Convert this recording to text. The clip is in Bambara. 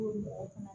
mɔgɔ fana